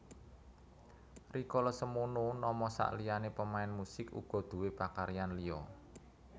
Rikala semono Nomo sakliyané pemain music uga duwé pakaryan liya